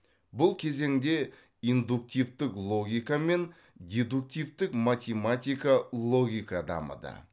бұл кезеңде индуктивтік логикамен дедуктивтік математика логика дамыды